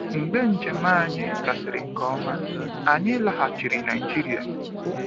Mgbe njem anyị gasịrị nke ọma, anyị laghachiri Nigeria.